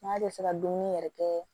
N'a bɛ se ka dumuni yɛrɛ kɛ